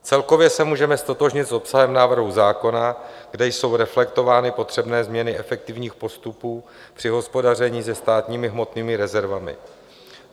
Celkově se můžeme ztotožnit s obsahem návrhu zákona, kde jsou reflektovány potřebné změny efektivních postupů při hospodaření se státními hmotnými rezervami.